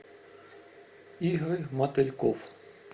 игорь мотыльков